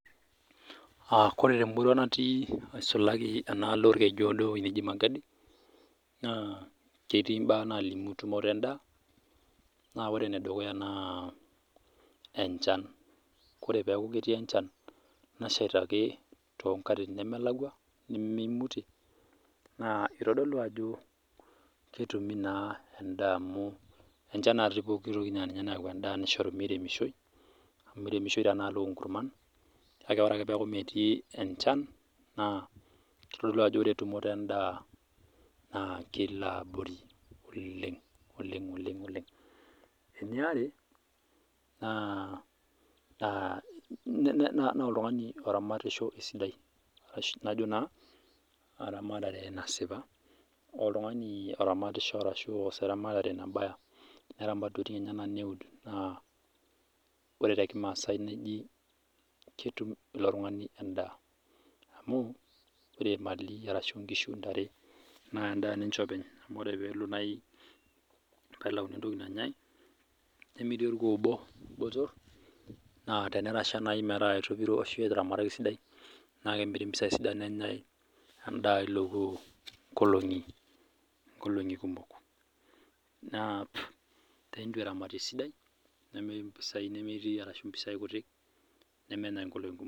Ore temurua naati nisulaki enaalo orkeju odoo enkop naaji Magadi naa ketii mbaa nalimu tumoto endaa naa ore enedukuya naa enchan oree pee eku ketii enchan nashaita too nkatitin ake nemelakwa nimimutie naa eitodolu Ajo ketumi enda amu enchan naa pooki toki ninye nayawua endaa nisho mirimeshoi amu miremishoi tenadol oo nkurman kake ore ake peeku metii enchan naa kitodolu Ajo ore tumoto endaa na kelo abori oleng eniare naa oltung'ani oramatisho esidai neramat entokitin enyana neud naa oree tee kimasai nejia ketum elo tung'ani endaa amu ore email ashu enkishu ntare naa endaa ninye openy amu tenelo naaji pee elauni entoki nanyai nemiri orkuoo obo botor naa tenetasha naaji metaa etopiro ashu etaramataki esidai naa kemiri mpisai sidan nenyai endaa elo kuoo nkolong'i kumok naa teneitu eramatare esidai nemiri mpisai kutiik nemenyai nkolong'i kumok